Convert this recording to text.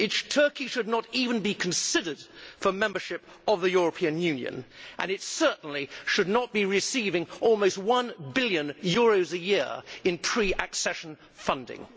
Turkey should not even be considered for membership of the European Union, and it certainly should not be receiving almost one billion euros a year in pre accession funding.